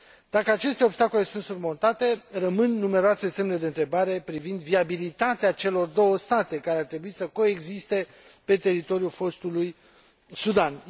Dacă aceste obstacole sunt surmontate, rămân numeroase semne de întrebare privind viabilitatea celor două state care ar trebui să coexiste pe teritoriul fostului Sudan.